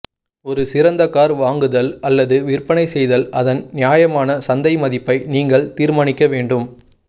ஒரு சிறந்த கார் வாங்குதல் அல்லது விற்பனை செய்தல் அதன் நியாயமான சந்தை மதிப்பை நீங்கள் தீர்மானிக்க வேண்டும்